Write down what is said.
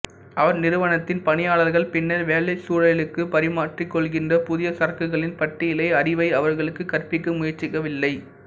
அவர் நிறுவனத்தின் பணியாளர்கள் பின்னர் வேலைச் சூழலிற்கு பரிமாற்றிக்கொள்கின்ற புதிய சரக்குகளின் பட்டியல் அறிவை அவர்களுக்கு கற்பிக்க முயற்சிக்கவில்லை